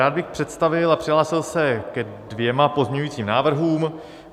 Rád bych představil a přihlásil se ke dvěma pozměňujícím návrhům.